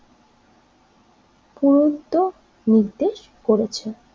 নির্দেশ করেছে।